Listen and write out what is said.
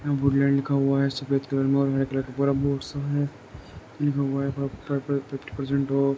यहाँ वुड्लैन्ड लिखा हुआ है सफेद कलर मे और हारे कलर का पूरा बोर्ड सा है लिखा हुआ है पर फिफ्टी प्र्जेन्ट ऑफ।